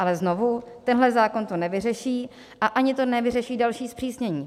Ale znovu, tenhle zákon to nevyřeší a ani to nevyřeší další zpřísnění.